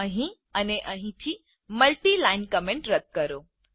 અહીં અને અહીં થી મલ્ટી લાઇન કમેન્ટ રદ કરો